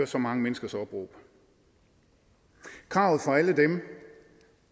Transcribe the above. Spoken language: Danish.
så mange menneskers opråb kravet fra alle dem